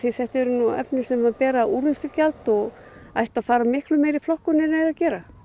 þetta eru efni sem bera úrvinnslugjald og ættu að fara miklu meira í flokkun en þau eru að gera